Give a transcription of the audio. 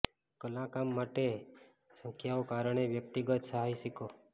કલા કામ કરે મોટી સંખ્યામાં કારણે વ્યક્તિગત સાહસિકો